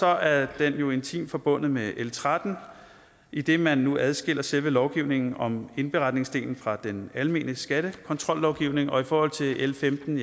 er den jo intimt forbundet med l tretten idet man nu adskiller selve lovgivningen om indberetningsdelen fra den almene skattekontrollovgivning og i forhold til l femten